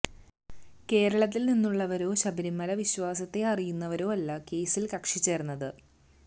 കേരളത്തില് നിന്നുള്ളവരോ ശബരിമല വിശ്വാസത്തെ അറിയുന്നവരോ അല്ല കേസില് കക്ഷി ചേര്ന്നത്